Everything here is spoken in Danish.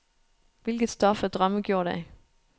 Hvilket stof er drømme gjort af?